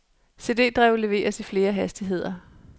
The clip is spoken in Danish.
CD drev leveres i flere hastigheder.